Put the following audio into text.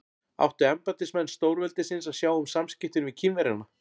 Áttu embættismenn stórveldisins að sjá um samskiptin við Kínverjana?